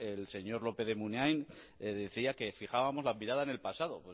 el señor lópez de munain decía que fijábamos la mirada en el pasado